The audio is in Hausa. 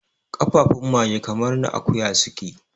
kafafun mage kamar na akuya suke